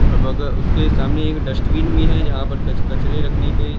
और बग उसके सामने एक डस्टबिन भी है जहां पर कच कचरे रखने के--